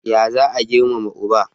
Ya za a Girmama uba?